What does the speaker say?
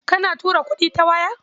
Kana tura kuɗi ta waya?